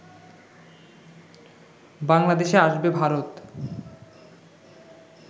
বাংলাদেশে আসবে ভারত